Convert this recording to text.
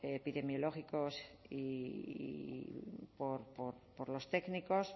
epidemiológicos y por los técnicos